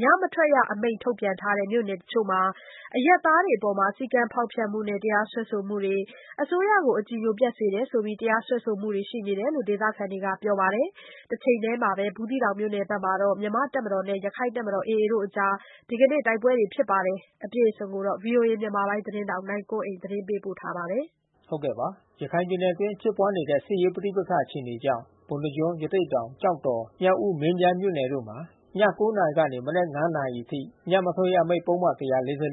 ညမထွက်ရအမိန့် ထုတ်ပြန်ထားတဲ့ ရခိုင်ပြည်နယ်မြို့နယ်တချို့မှာ အရပ်သားတွေအပေါ် စည်းကမ်းဖေါက်ဖျက်မှုနဲ့ တရားစွဲဆိုမှုတွေ၊ အစိုးရကိုအကြည်ညိုပျက်စေတယ်ဆိုပြီး တရားစွဲဆိုမှုတွေ ရှိနေတယ်လို့ ဒေသခံတွေက ပြောပါတယ်။ တချိန်တည်းမှာပဲ ဘူးသီးတောင်မြို့နယ်ဘက်မှာ မြန်မာ့တပ်မတော်နဲ့ ရခိုင့်တပ်မတော် AA တို့ အကြား ဒီကနေ့ တိုက်ပွဲဖြစ်နေဆဲလို့ ဆိုပါတယ်။ ဗွီအိုအေ မြန်မာပိုင်းသတင်းထောက် နိုင်ကွန်းအိန်ကနေ သတင်းပေးပို့ထားပါတယ်။ ရခိုင်ပြည်နယ်အတွင်း ဖြစ်ပွါးနေတဲ့ စစ်ရေးပဋိပက္ခ အခြေအနေကြောင့် ပုဏ္ဏားကျွန်း ရသေ့တောင် ကျောက်တော် မြောက်ဦး မင်းပြား မြို့နယ်တို့မှာ ည ၉ နာရီကနေ မနက် ၅ နာရီ အထိ ညမထွက်ရအမိန့် ပုဒ်မ ၁၄၄ ကို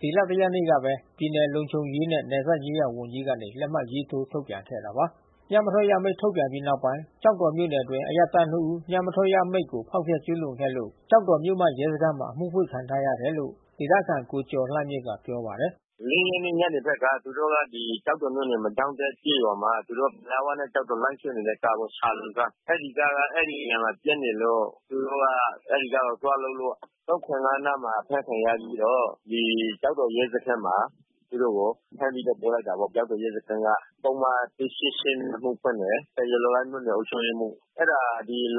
ဒီလ ၁ ရက်နေ့ကပဲ ပြည်နယ်လုံခြုံရေးနဲ့ နယ်စပ်ရေးရာ ဝန်ကြီးကနေ လက်မှတ်ထိုး ထုတ်ပြန်ခဲ့တာပါ။ ညမထွက်ရ အမိန့်ထုတ်ပြန်ပြီးနောက်ပိုင်း ကျောက်တော်မြို့နယ်အတွင်း အရပ်သား ၂ ဦးညမထွက်ရအမိန့်ကို ဖေါက်ဖျက်ကျူးလွန်ခဲ့လို့ ကျောက်တော်မြို့မ ရဲစခန်းမှာ အမှုဖွင့်ခံထားရတယ်လို့ ဒေသခံ ကိုကျော်လှမြင့်က ပြောပါတယ်။ “၄ ရက်နေ့ ညနေပိုင်းက သူတို့က ကျောက်တော်မြို့နယ် မီကျောင်းတက်ကျေးရွာမှာ သူတို့ လမ်းဝနဲ့ ကျောက်တော် လိုင်းဆွဲနေတဲ့ ကားပေါ့။ ရှာလုမ်ကား။ အဲဒီကားက အဲဒီနားပျက်နေလို့ သူတို့က အဲဒီကားကို သွားလုပ်လို့ နားမှာ အဖမ်းခံရပြီးတော့ ကျောက်တော်ရဲစခန်းမှာ သူတို့ကို ဖမ်းပြီးတော့ ပို့လိုက်တာပေါ့။ ကျောက်တော်ရဲစခန်းက ပုဒ်မ နဲ့ အမှုဖွင့်တယ်။ တရားလိုက မြို့နယ်အုပ်ချုပ်ရေးမှူး။ အဲတာ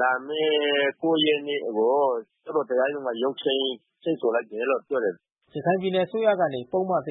လာမဲ့ ရက်နေ့ကို သူတို့ တရားရုံးက ရုံးချိန်း ချိန်းဆိုလိုက်တယ်လို့ ပြောတယ်။ ရခိုင်ပြည်နယ် အစိုးရကနေ ပုဒ်မ အမိန့်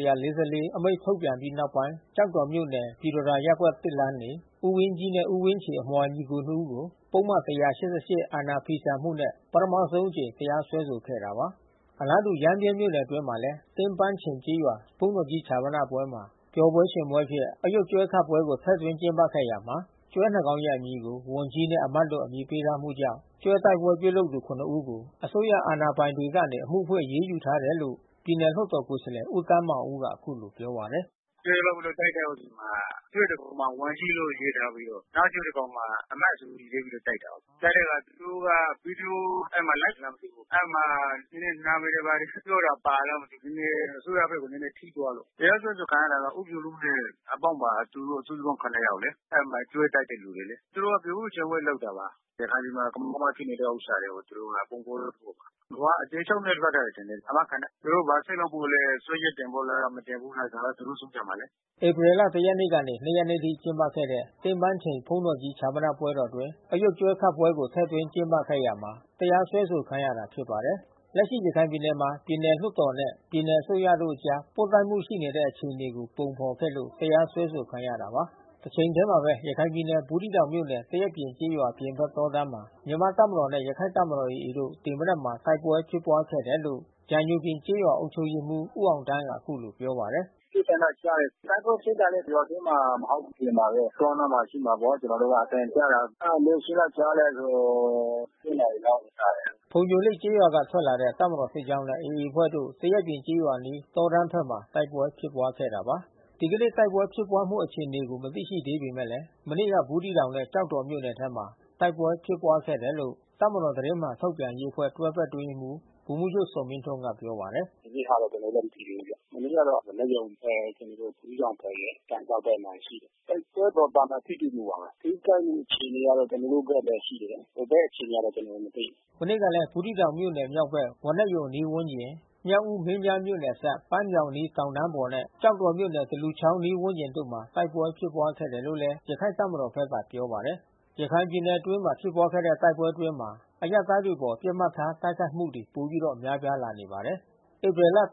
ထုတ်ပြန်ပြီးနောက်ပိုင်း ကျောက်တော်မြို့နယ် ပြည်တော်သာရပ်ကွက် လမ်း နေ ဦးဝင်းကြီးနှင့် ဦးဝင်းချေ အမွှာညီကို ၂ ဦးကို ပုဒ်မ အာဏာဖီဆန်မှုနဲ့ ပထမဆုံးအကြိမ် တရားစွဲဆိုခဲ့တာပါ။ အလားတူရမ်းဗြဲ မြို့နယ်အတွင်းမှာလည်း သင်းပန်းချိန်ကျေးရွာ ဘုန်းတော်ကြီး ဈာပနမှာ ပျော်ပွဲ ရွှင်ပွဲအဖြစ် အရုပ်ကျွဲခတ်ပွဲကို ထည့်သွင်းကျင်းပခဲ့ရာမှာ ကျွဲ ၂ ကောင်ရဲ့ နာမည်ကို ‘ဝန်ကြီး’ နှင့် ‘အမတ်’ လို့အမည်ပေးထားမှု ကြောင့် ကျွဲတိုက်ပွဲ ပြုလုပ်သူ ဦးကို အစိုးရ အာဏာပိုင်တွေကနေ အမှုဖွင့် အရေးယူထားတယ်လို့ ပြည်နယ်လွှတ်တော် ကိုယ်စားလှယ် ဦးသန်းမောင်ဦးက အခုလိုပြောပါတယ်။ “ကျွဲလုပ်ပြီး တိုက်ခိုက်တဲ့အချိန်မှာ ကျွဲတကောင်မှာ ဝန်ကြီးလို့ ရေးထားပြီးတော့ နောက်ကျွဲတကောင်မှာ အမတ်ဆိုပြီး ရေးထားပြီးတော့ တိုက်တာကိုး။ တိုက်တဲ့အခါ သူတို့က အဲဒီမှာ LIVE လားမသိဘူး လွှင့်တာ။ အဲဒီမှာ နာမယ်တွေ ဘာတွေ ပြောတာပါသလား မသိဘူး။ ပြည်နယ် အစိုးရဘက်ကို နဲနဲထိသွားလို့။ တရားစွဲဆိုခံရတာက ဦးဖြူလုနဲ့ အပေါင်းပါ စုစုပေါင်း ယောက်လေ။ အဲဒီမှာ ကျွဲတိုက်တဲ့ သူတွေလေ။ သူတို့က ပျော်ပွဲရွှင်ပွဲလုပ်တာပါ။ ရခိုင်ပြည်မှာ ကမောက်ကမဖြစ်နေတဲ့ ဥစ္စာတွေကို သူတို့ကပုံဖေါ်တယ်ပေါ့။ သူတို့က အကျယ်ချုပ်နဲ့ လွှတ်ထားတယ်ထင်တယ် အာမခံနဲ့။ သူတို့ ဘာဆက်လုပ်ဖို့လဲ။ စွဲချက်တင်ဖို့လား မတင်ဘူးလား ဒါကသူတို့ ဆုံးဖြတ်မှာလေ။” ဧပြီ ၁ ရက်နေ့မှ ၂ ရက်နေ့ထိ ကျင်းပခဲ့တဲ့ သင်းပန်းချိန်ဘုန်းတော်ကြီး ဈာပနပွဲတော်အတွင်း အရုပ်ကျွဲခတ်ပွဲကို ထည့်သွင်းကျင်းပခဲ့ရာမှာ တရားစွဲဆို ခံရတာဖြစ်ပါတယ်။ လက်ရှိရခိုင်ပြည်နယ်မှာ ပြည်နယ်လွှတ်တော်နဲ့ ပြည်နယ်အစိုးရတို့အကြား ပွတ်တိုက်မှုတွေ ရှိနေတဲ့အခြေအနေကို ပုံဖေါ်ခဲ့လို့ တရားစွဲဆိုခံရတာပါ။ တချိန်ထဲမှာပဲ ရခိုင်ပြည်နယ်၊ ဘူးသီးတောင်မြို့နယ်၊ သရက်ပြင်ကျေးရွာ အပြင်ဘက်တောတန်းမှာ မြန်မာ့တပ်မတော်နဲ့ ရခိုင့်တပ်မတော် AA တို့ ဒီမနက်မှာ တိုက်ပွဲဖြစ်ပွါးခဲ့တယ်လို့ ကြာညိုပြင်ကျေးရွာ အုပ်ချုပ်ရေးမှူး ဦးအောင်သန်းက အခုလို ပြောပါတယ်။ “ပစ်သံတော့ ကြားတယ်။ တိုက်ပွဲဖြစ်တာတော့ ရွာထဲမှာမဟုတ်ဘူး။ အပြင်မှာပဲ တောအနားမှာ ဖြစ်မှာပေါ့။ ကျွန်တော်တို့က အသံကြားတာ။ အဲတာ ဘယ်အချိန်က ကြားလဲဆိုတော့ နာရီလောက်မှာ ကြားတယ်။ ဖုန်ညိုလိပ်ကျေးရွာက ထွက်လာတဲ့ တပ်မတော်စစ်ကြောင်းနဲ့ AA အဖွဲ့တို့ သရက်ပြင်ကျေးရွာအနီး တောတန်းဘက်မှာ တိုက်ပွဲဖြစ်ပွါးခဲ့တာပါ။ ဒီကနေ့တိုက်ပွဲ ဖြစ်ပွါးမှု အခြေအနေမသိရှိသေးပေမဲ့ မနေ့က ဘူးသီးတောင်နဲ့ ကျောက်တော်မြို့နယ်ထဲမှာ တိုက်ပွဲ ဖြစ်ပွါးခဲ့တယ်လို့ တပ်မတော် သတင်းမှန်ထုတ်ပြန်ရေးအဖွဲ့ တွဲဘက်အတွင်းရေးမှူး ဗိုလ်မှူးချုပ်ဇော်မင်းထွန်းက ပြောပါတယ်။ “ဒီနေ့ဟာတော့ ကျနော်တို့လည်း မသိသေးဘူးဗျ။ မနေ့ကတော့ ဝါးနက်ရုံဘက် ကျနော်တို့ ဘူးသီးတောင်ဘက်ရယ်၊ ကန်စောက်ဘက်မှာ ရှိတယ်။ တိုက်ပွဲတော့ သာမန်ထိတွေ့မှုပါပဲ။ ထိခိုက်မှု အခြေအနေကတော့ ကျွန်တော်တို့ဘက်လည်း ရှိတယ်။ ဟိုဘက်အခြေအနေက ကျနော်တို့ မသိဘူး။” မနေ့ကလည်း ဘူးသီးတောင်မြို့နယ် မြောက်ဘက် ဝါးနက်ရုံ အနီးဝန်းကျင်၊ မြောက်ဦး - မင်းပြားမြို့နယ်အစပ် ပန်းမြောင်းအနီးရှိ တောင်တန်းအပေါ်နဲ့ ကျောက်တော်မြို့နယ် သလူချောင်းအနီးဝန်းကျင်တို့မှာ တိုက်ပွဲဖြစ်ပွါးခဲ့တယ်လို့လည်း ရခိုင့်တပ်မတော်ဘက်က ပြောပါတယ်။ ရခိုင်ပြည်နယ်အတွင်းမှာ ဖြစ်ပွါးခဲ့တဲ့ တိုက်ပွဲအတွင်းမှာ အရပ်သားတွေအပေါ် ပစ်မှတ်ထား တိုက်ခိုက်မှုတွေဟာ ပိုပြီး များပြားလာနေပါတယ်။ ဧပြီလ ရက်နေ့က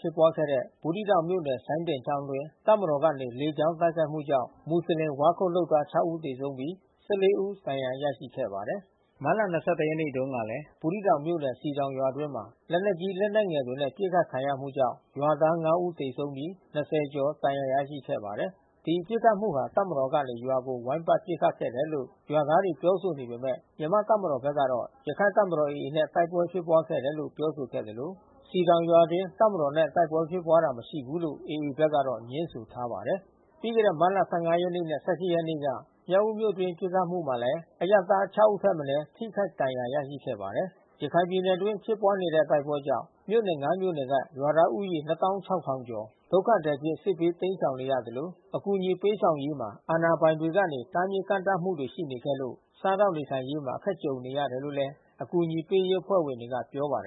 ဖြစ်ပွါးခဲ့တဲ့ ဘူးသီးတောင်မြို့နယ် စိုင်းဒင်ချောင်းအတွင်း တပ်မတော်ဘက်ကနေ လေကြောင်း တိုက်ခိုက်မှုကြောင့် မူဆလင် ဝါးခုတ်လုပ်သား ဦးသေဆုံးပြီး ဦးဒဏ်ရာ ရရှိခဲ့ပါတယ်။ မတ်လ ရက်နေ့တုန်းကလည်း ဘူးသီးတောင်မြို့နယ် စည်တောင်ရွာအတွင်းမှာ လက်နက်ကြီး လက်နက်ငယ်တွေနဲ့ ပစ်ခတ်ခံရမှုကြောင့် ရွာသား ဦးသေဆုံးပြီး ကျော် ဒဏ်ရာ ရရှိခဲ့ပါတယ်။ ဒီပစ်ခတ်မှုဟာ တပ်မတော်ကနေ ရွာကို ဝိုင်းပတ် ပစ်ခတ်ခဲ့တယ်လို့ ရွာသားတွေ ပြောဆိုနေပေမဲ့ မြန်မာ့တပ်မတော်ဘက်ကတော့ ရခိုင်တပ်မတော် AA နဲ့ တိုက်ပွဲဖြစ်ပွါးခဲ့တယ်လို့ ပြောဆိုခဲ့သလို စည်တောင်ရွာအတွင်း တပ်မတော်နဲ့ တိုက်ပွဲဖြစ်ပွါးတာ မရှိဘူးလို့ AA ဘက်က ငြင်းဆိုထားပါတယ်။ ပြီးခဲ့တဲ့ မတ်လ ရက်နေ့နဲ့ ရက်နေ့က မြောက်ဦးမြို့အတွင်း ပစ်ခတ်မှုမှာလည်း အရပ်သား ဦးထက်မနဲ ထိခိုက်ဒဏ်ရာ ရရှိခဲ့ပါတယ်။ ရခိုင်ပြည်နယ် အတွင်းဖြစ်ပွါးနေတဲ့ တိုက်ပွဲကြောင့် မြို့နယ် မြို့နယ်က ရွာသားဦးရေ ကျော် ဒုက္ခသည်အဖြစ် စစ်ဘေးတိမ်းရှောင်နေရသလို အကူညီပေးဆောင်ရေးမှာ အာဏာပိုင်တွေကနေ တားမြစ်ကန့်သတ်မှုတွေ ရှိနေခဲ့လို့ စားသောက် နေထိုင်ရေးမှာအခက်ကြုံနေရတယ်လို့လည်း အကူညီပေး အဖွဲ့ဝင်တွေက ပြောပါတယ်